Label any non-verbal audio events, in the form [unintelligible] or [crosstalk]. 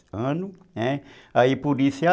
anos, Aí por isso [unintelligible]